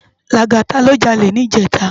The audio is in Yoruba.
Lagata lò jàlé nijètá